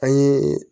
An ye